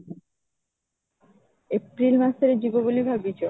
april ମାସରେ ଯିବ ବୋଲି ଭାବିଛ?